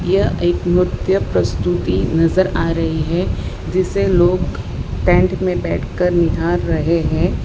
यह एक नृत्य प्रस्तुति नजर आ रही है जिसे लोग टेंट में बैठकर निहार रहे हैं।